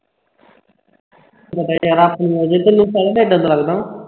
ਪਤਾ ਹੈ ਤੈਨੂੰ ਯਾਰਾ ਤੈਨੂੰ ਪਤਾ ਹੈ ਮੈਂ ਏਦਾਂ ਦਾ ਲੱਗਦਾ ਹਾਂ